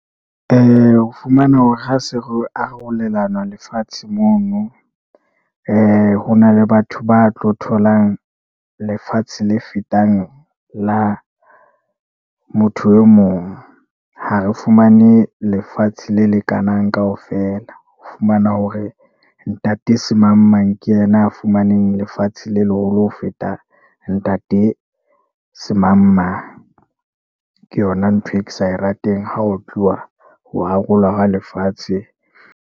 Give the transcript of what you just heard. O fumana hore ha se re o arolelana lefatshe mono . Ho na le batho ba tlo tholang lefatshe le fetang la motho e mong, ha re fumane lefatshe le lekanang kaofela. O fumana hore ntate se mang-mang ke yena a fumaneng lefatsheng le leholo ho feta ntate se mang-mang. Ke yona ntho e ke sa e rateng ha o tluwa ho arolwa hwa lefatshe.